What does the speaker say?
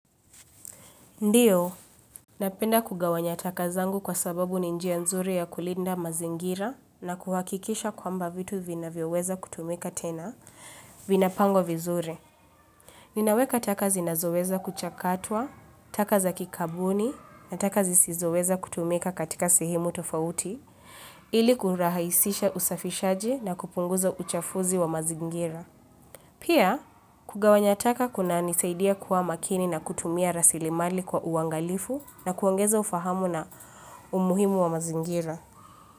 Ndiyo, napenda kugawanya taka zangu kwa sababu ni njia nzuri ya kulinda mazingira na kuhakikisha kwamba vitu vinavyoweza kutumika tena, vinapangwa vizuri. Ninaweka taka zinazoweza kuchakatwa, taka za kikabuni, na taka zisizoweza kutumika katika sehemu tofauti, ili kurahaisisha usafishaji na kupunguza uchafuzi wa mazingira. Pia kugawanya taka kunanisaidia kuwa makini na kutumia rasilimali kwa uangalifu na kuongeza ufahamu na umuhimu wa mazingira.